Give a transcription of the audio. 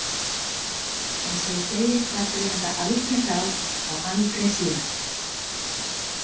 Eins og ég segi ræddum við þetta aldrei þá og aldrei síðan.